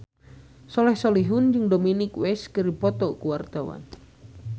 Soleh Solihun jeung Dominic West keur dipoto ku wartawan